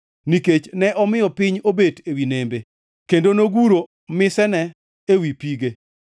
nikech ne omiyo piny obet ewi nembe kendo noguro misene ewi pige.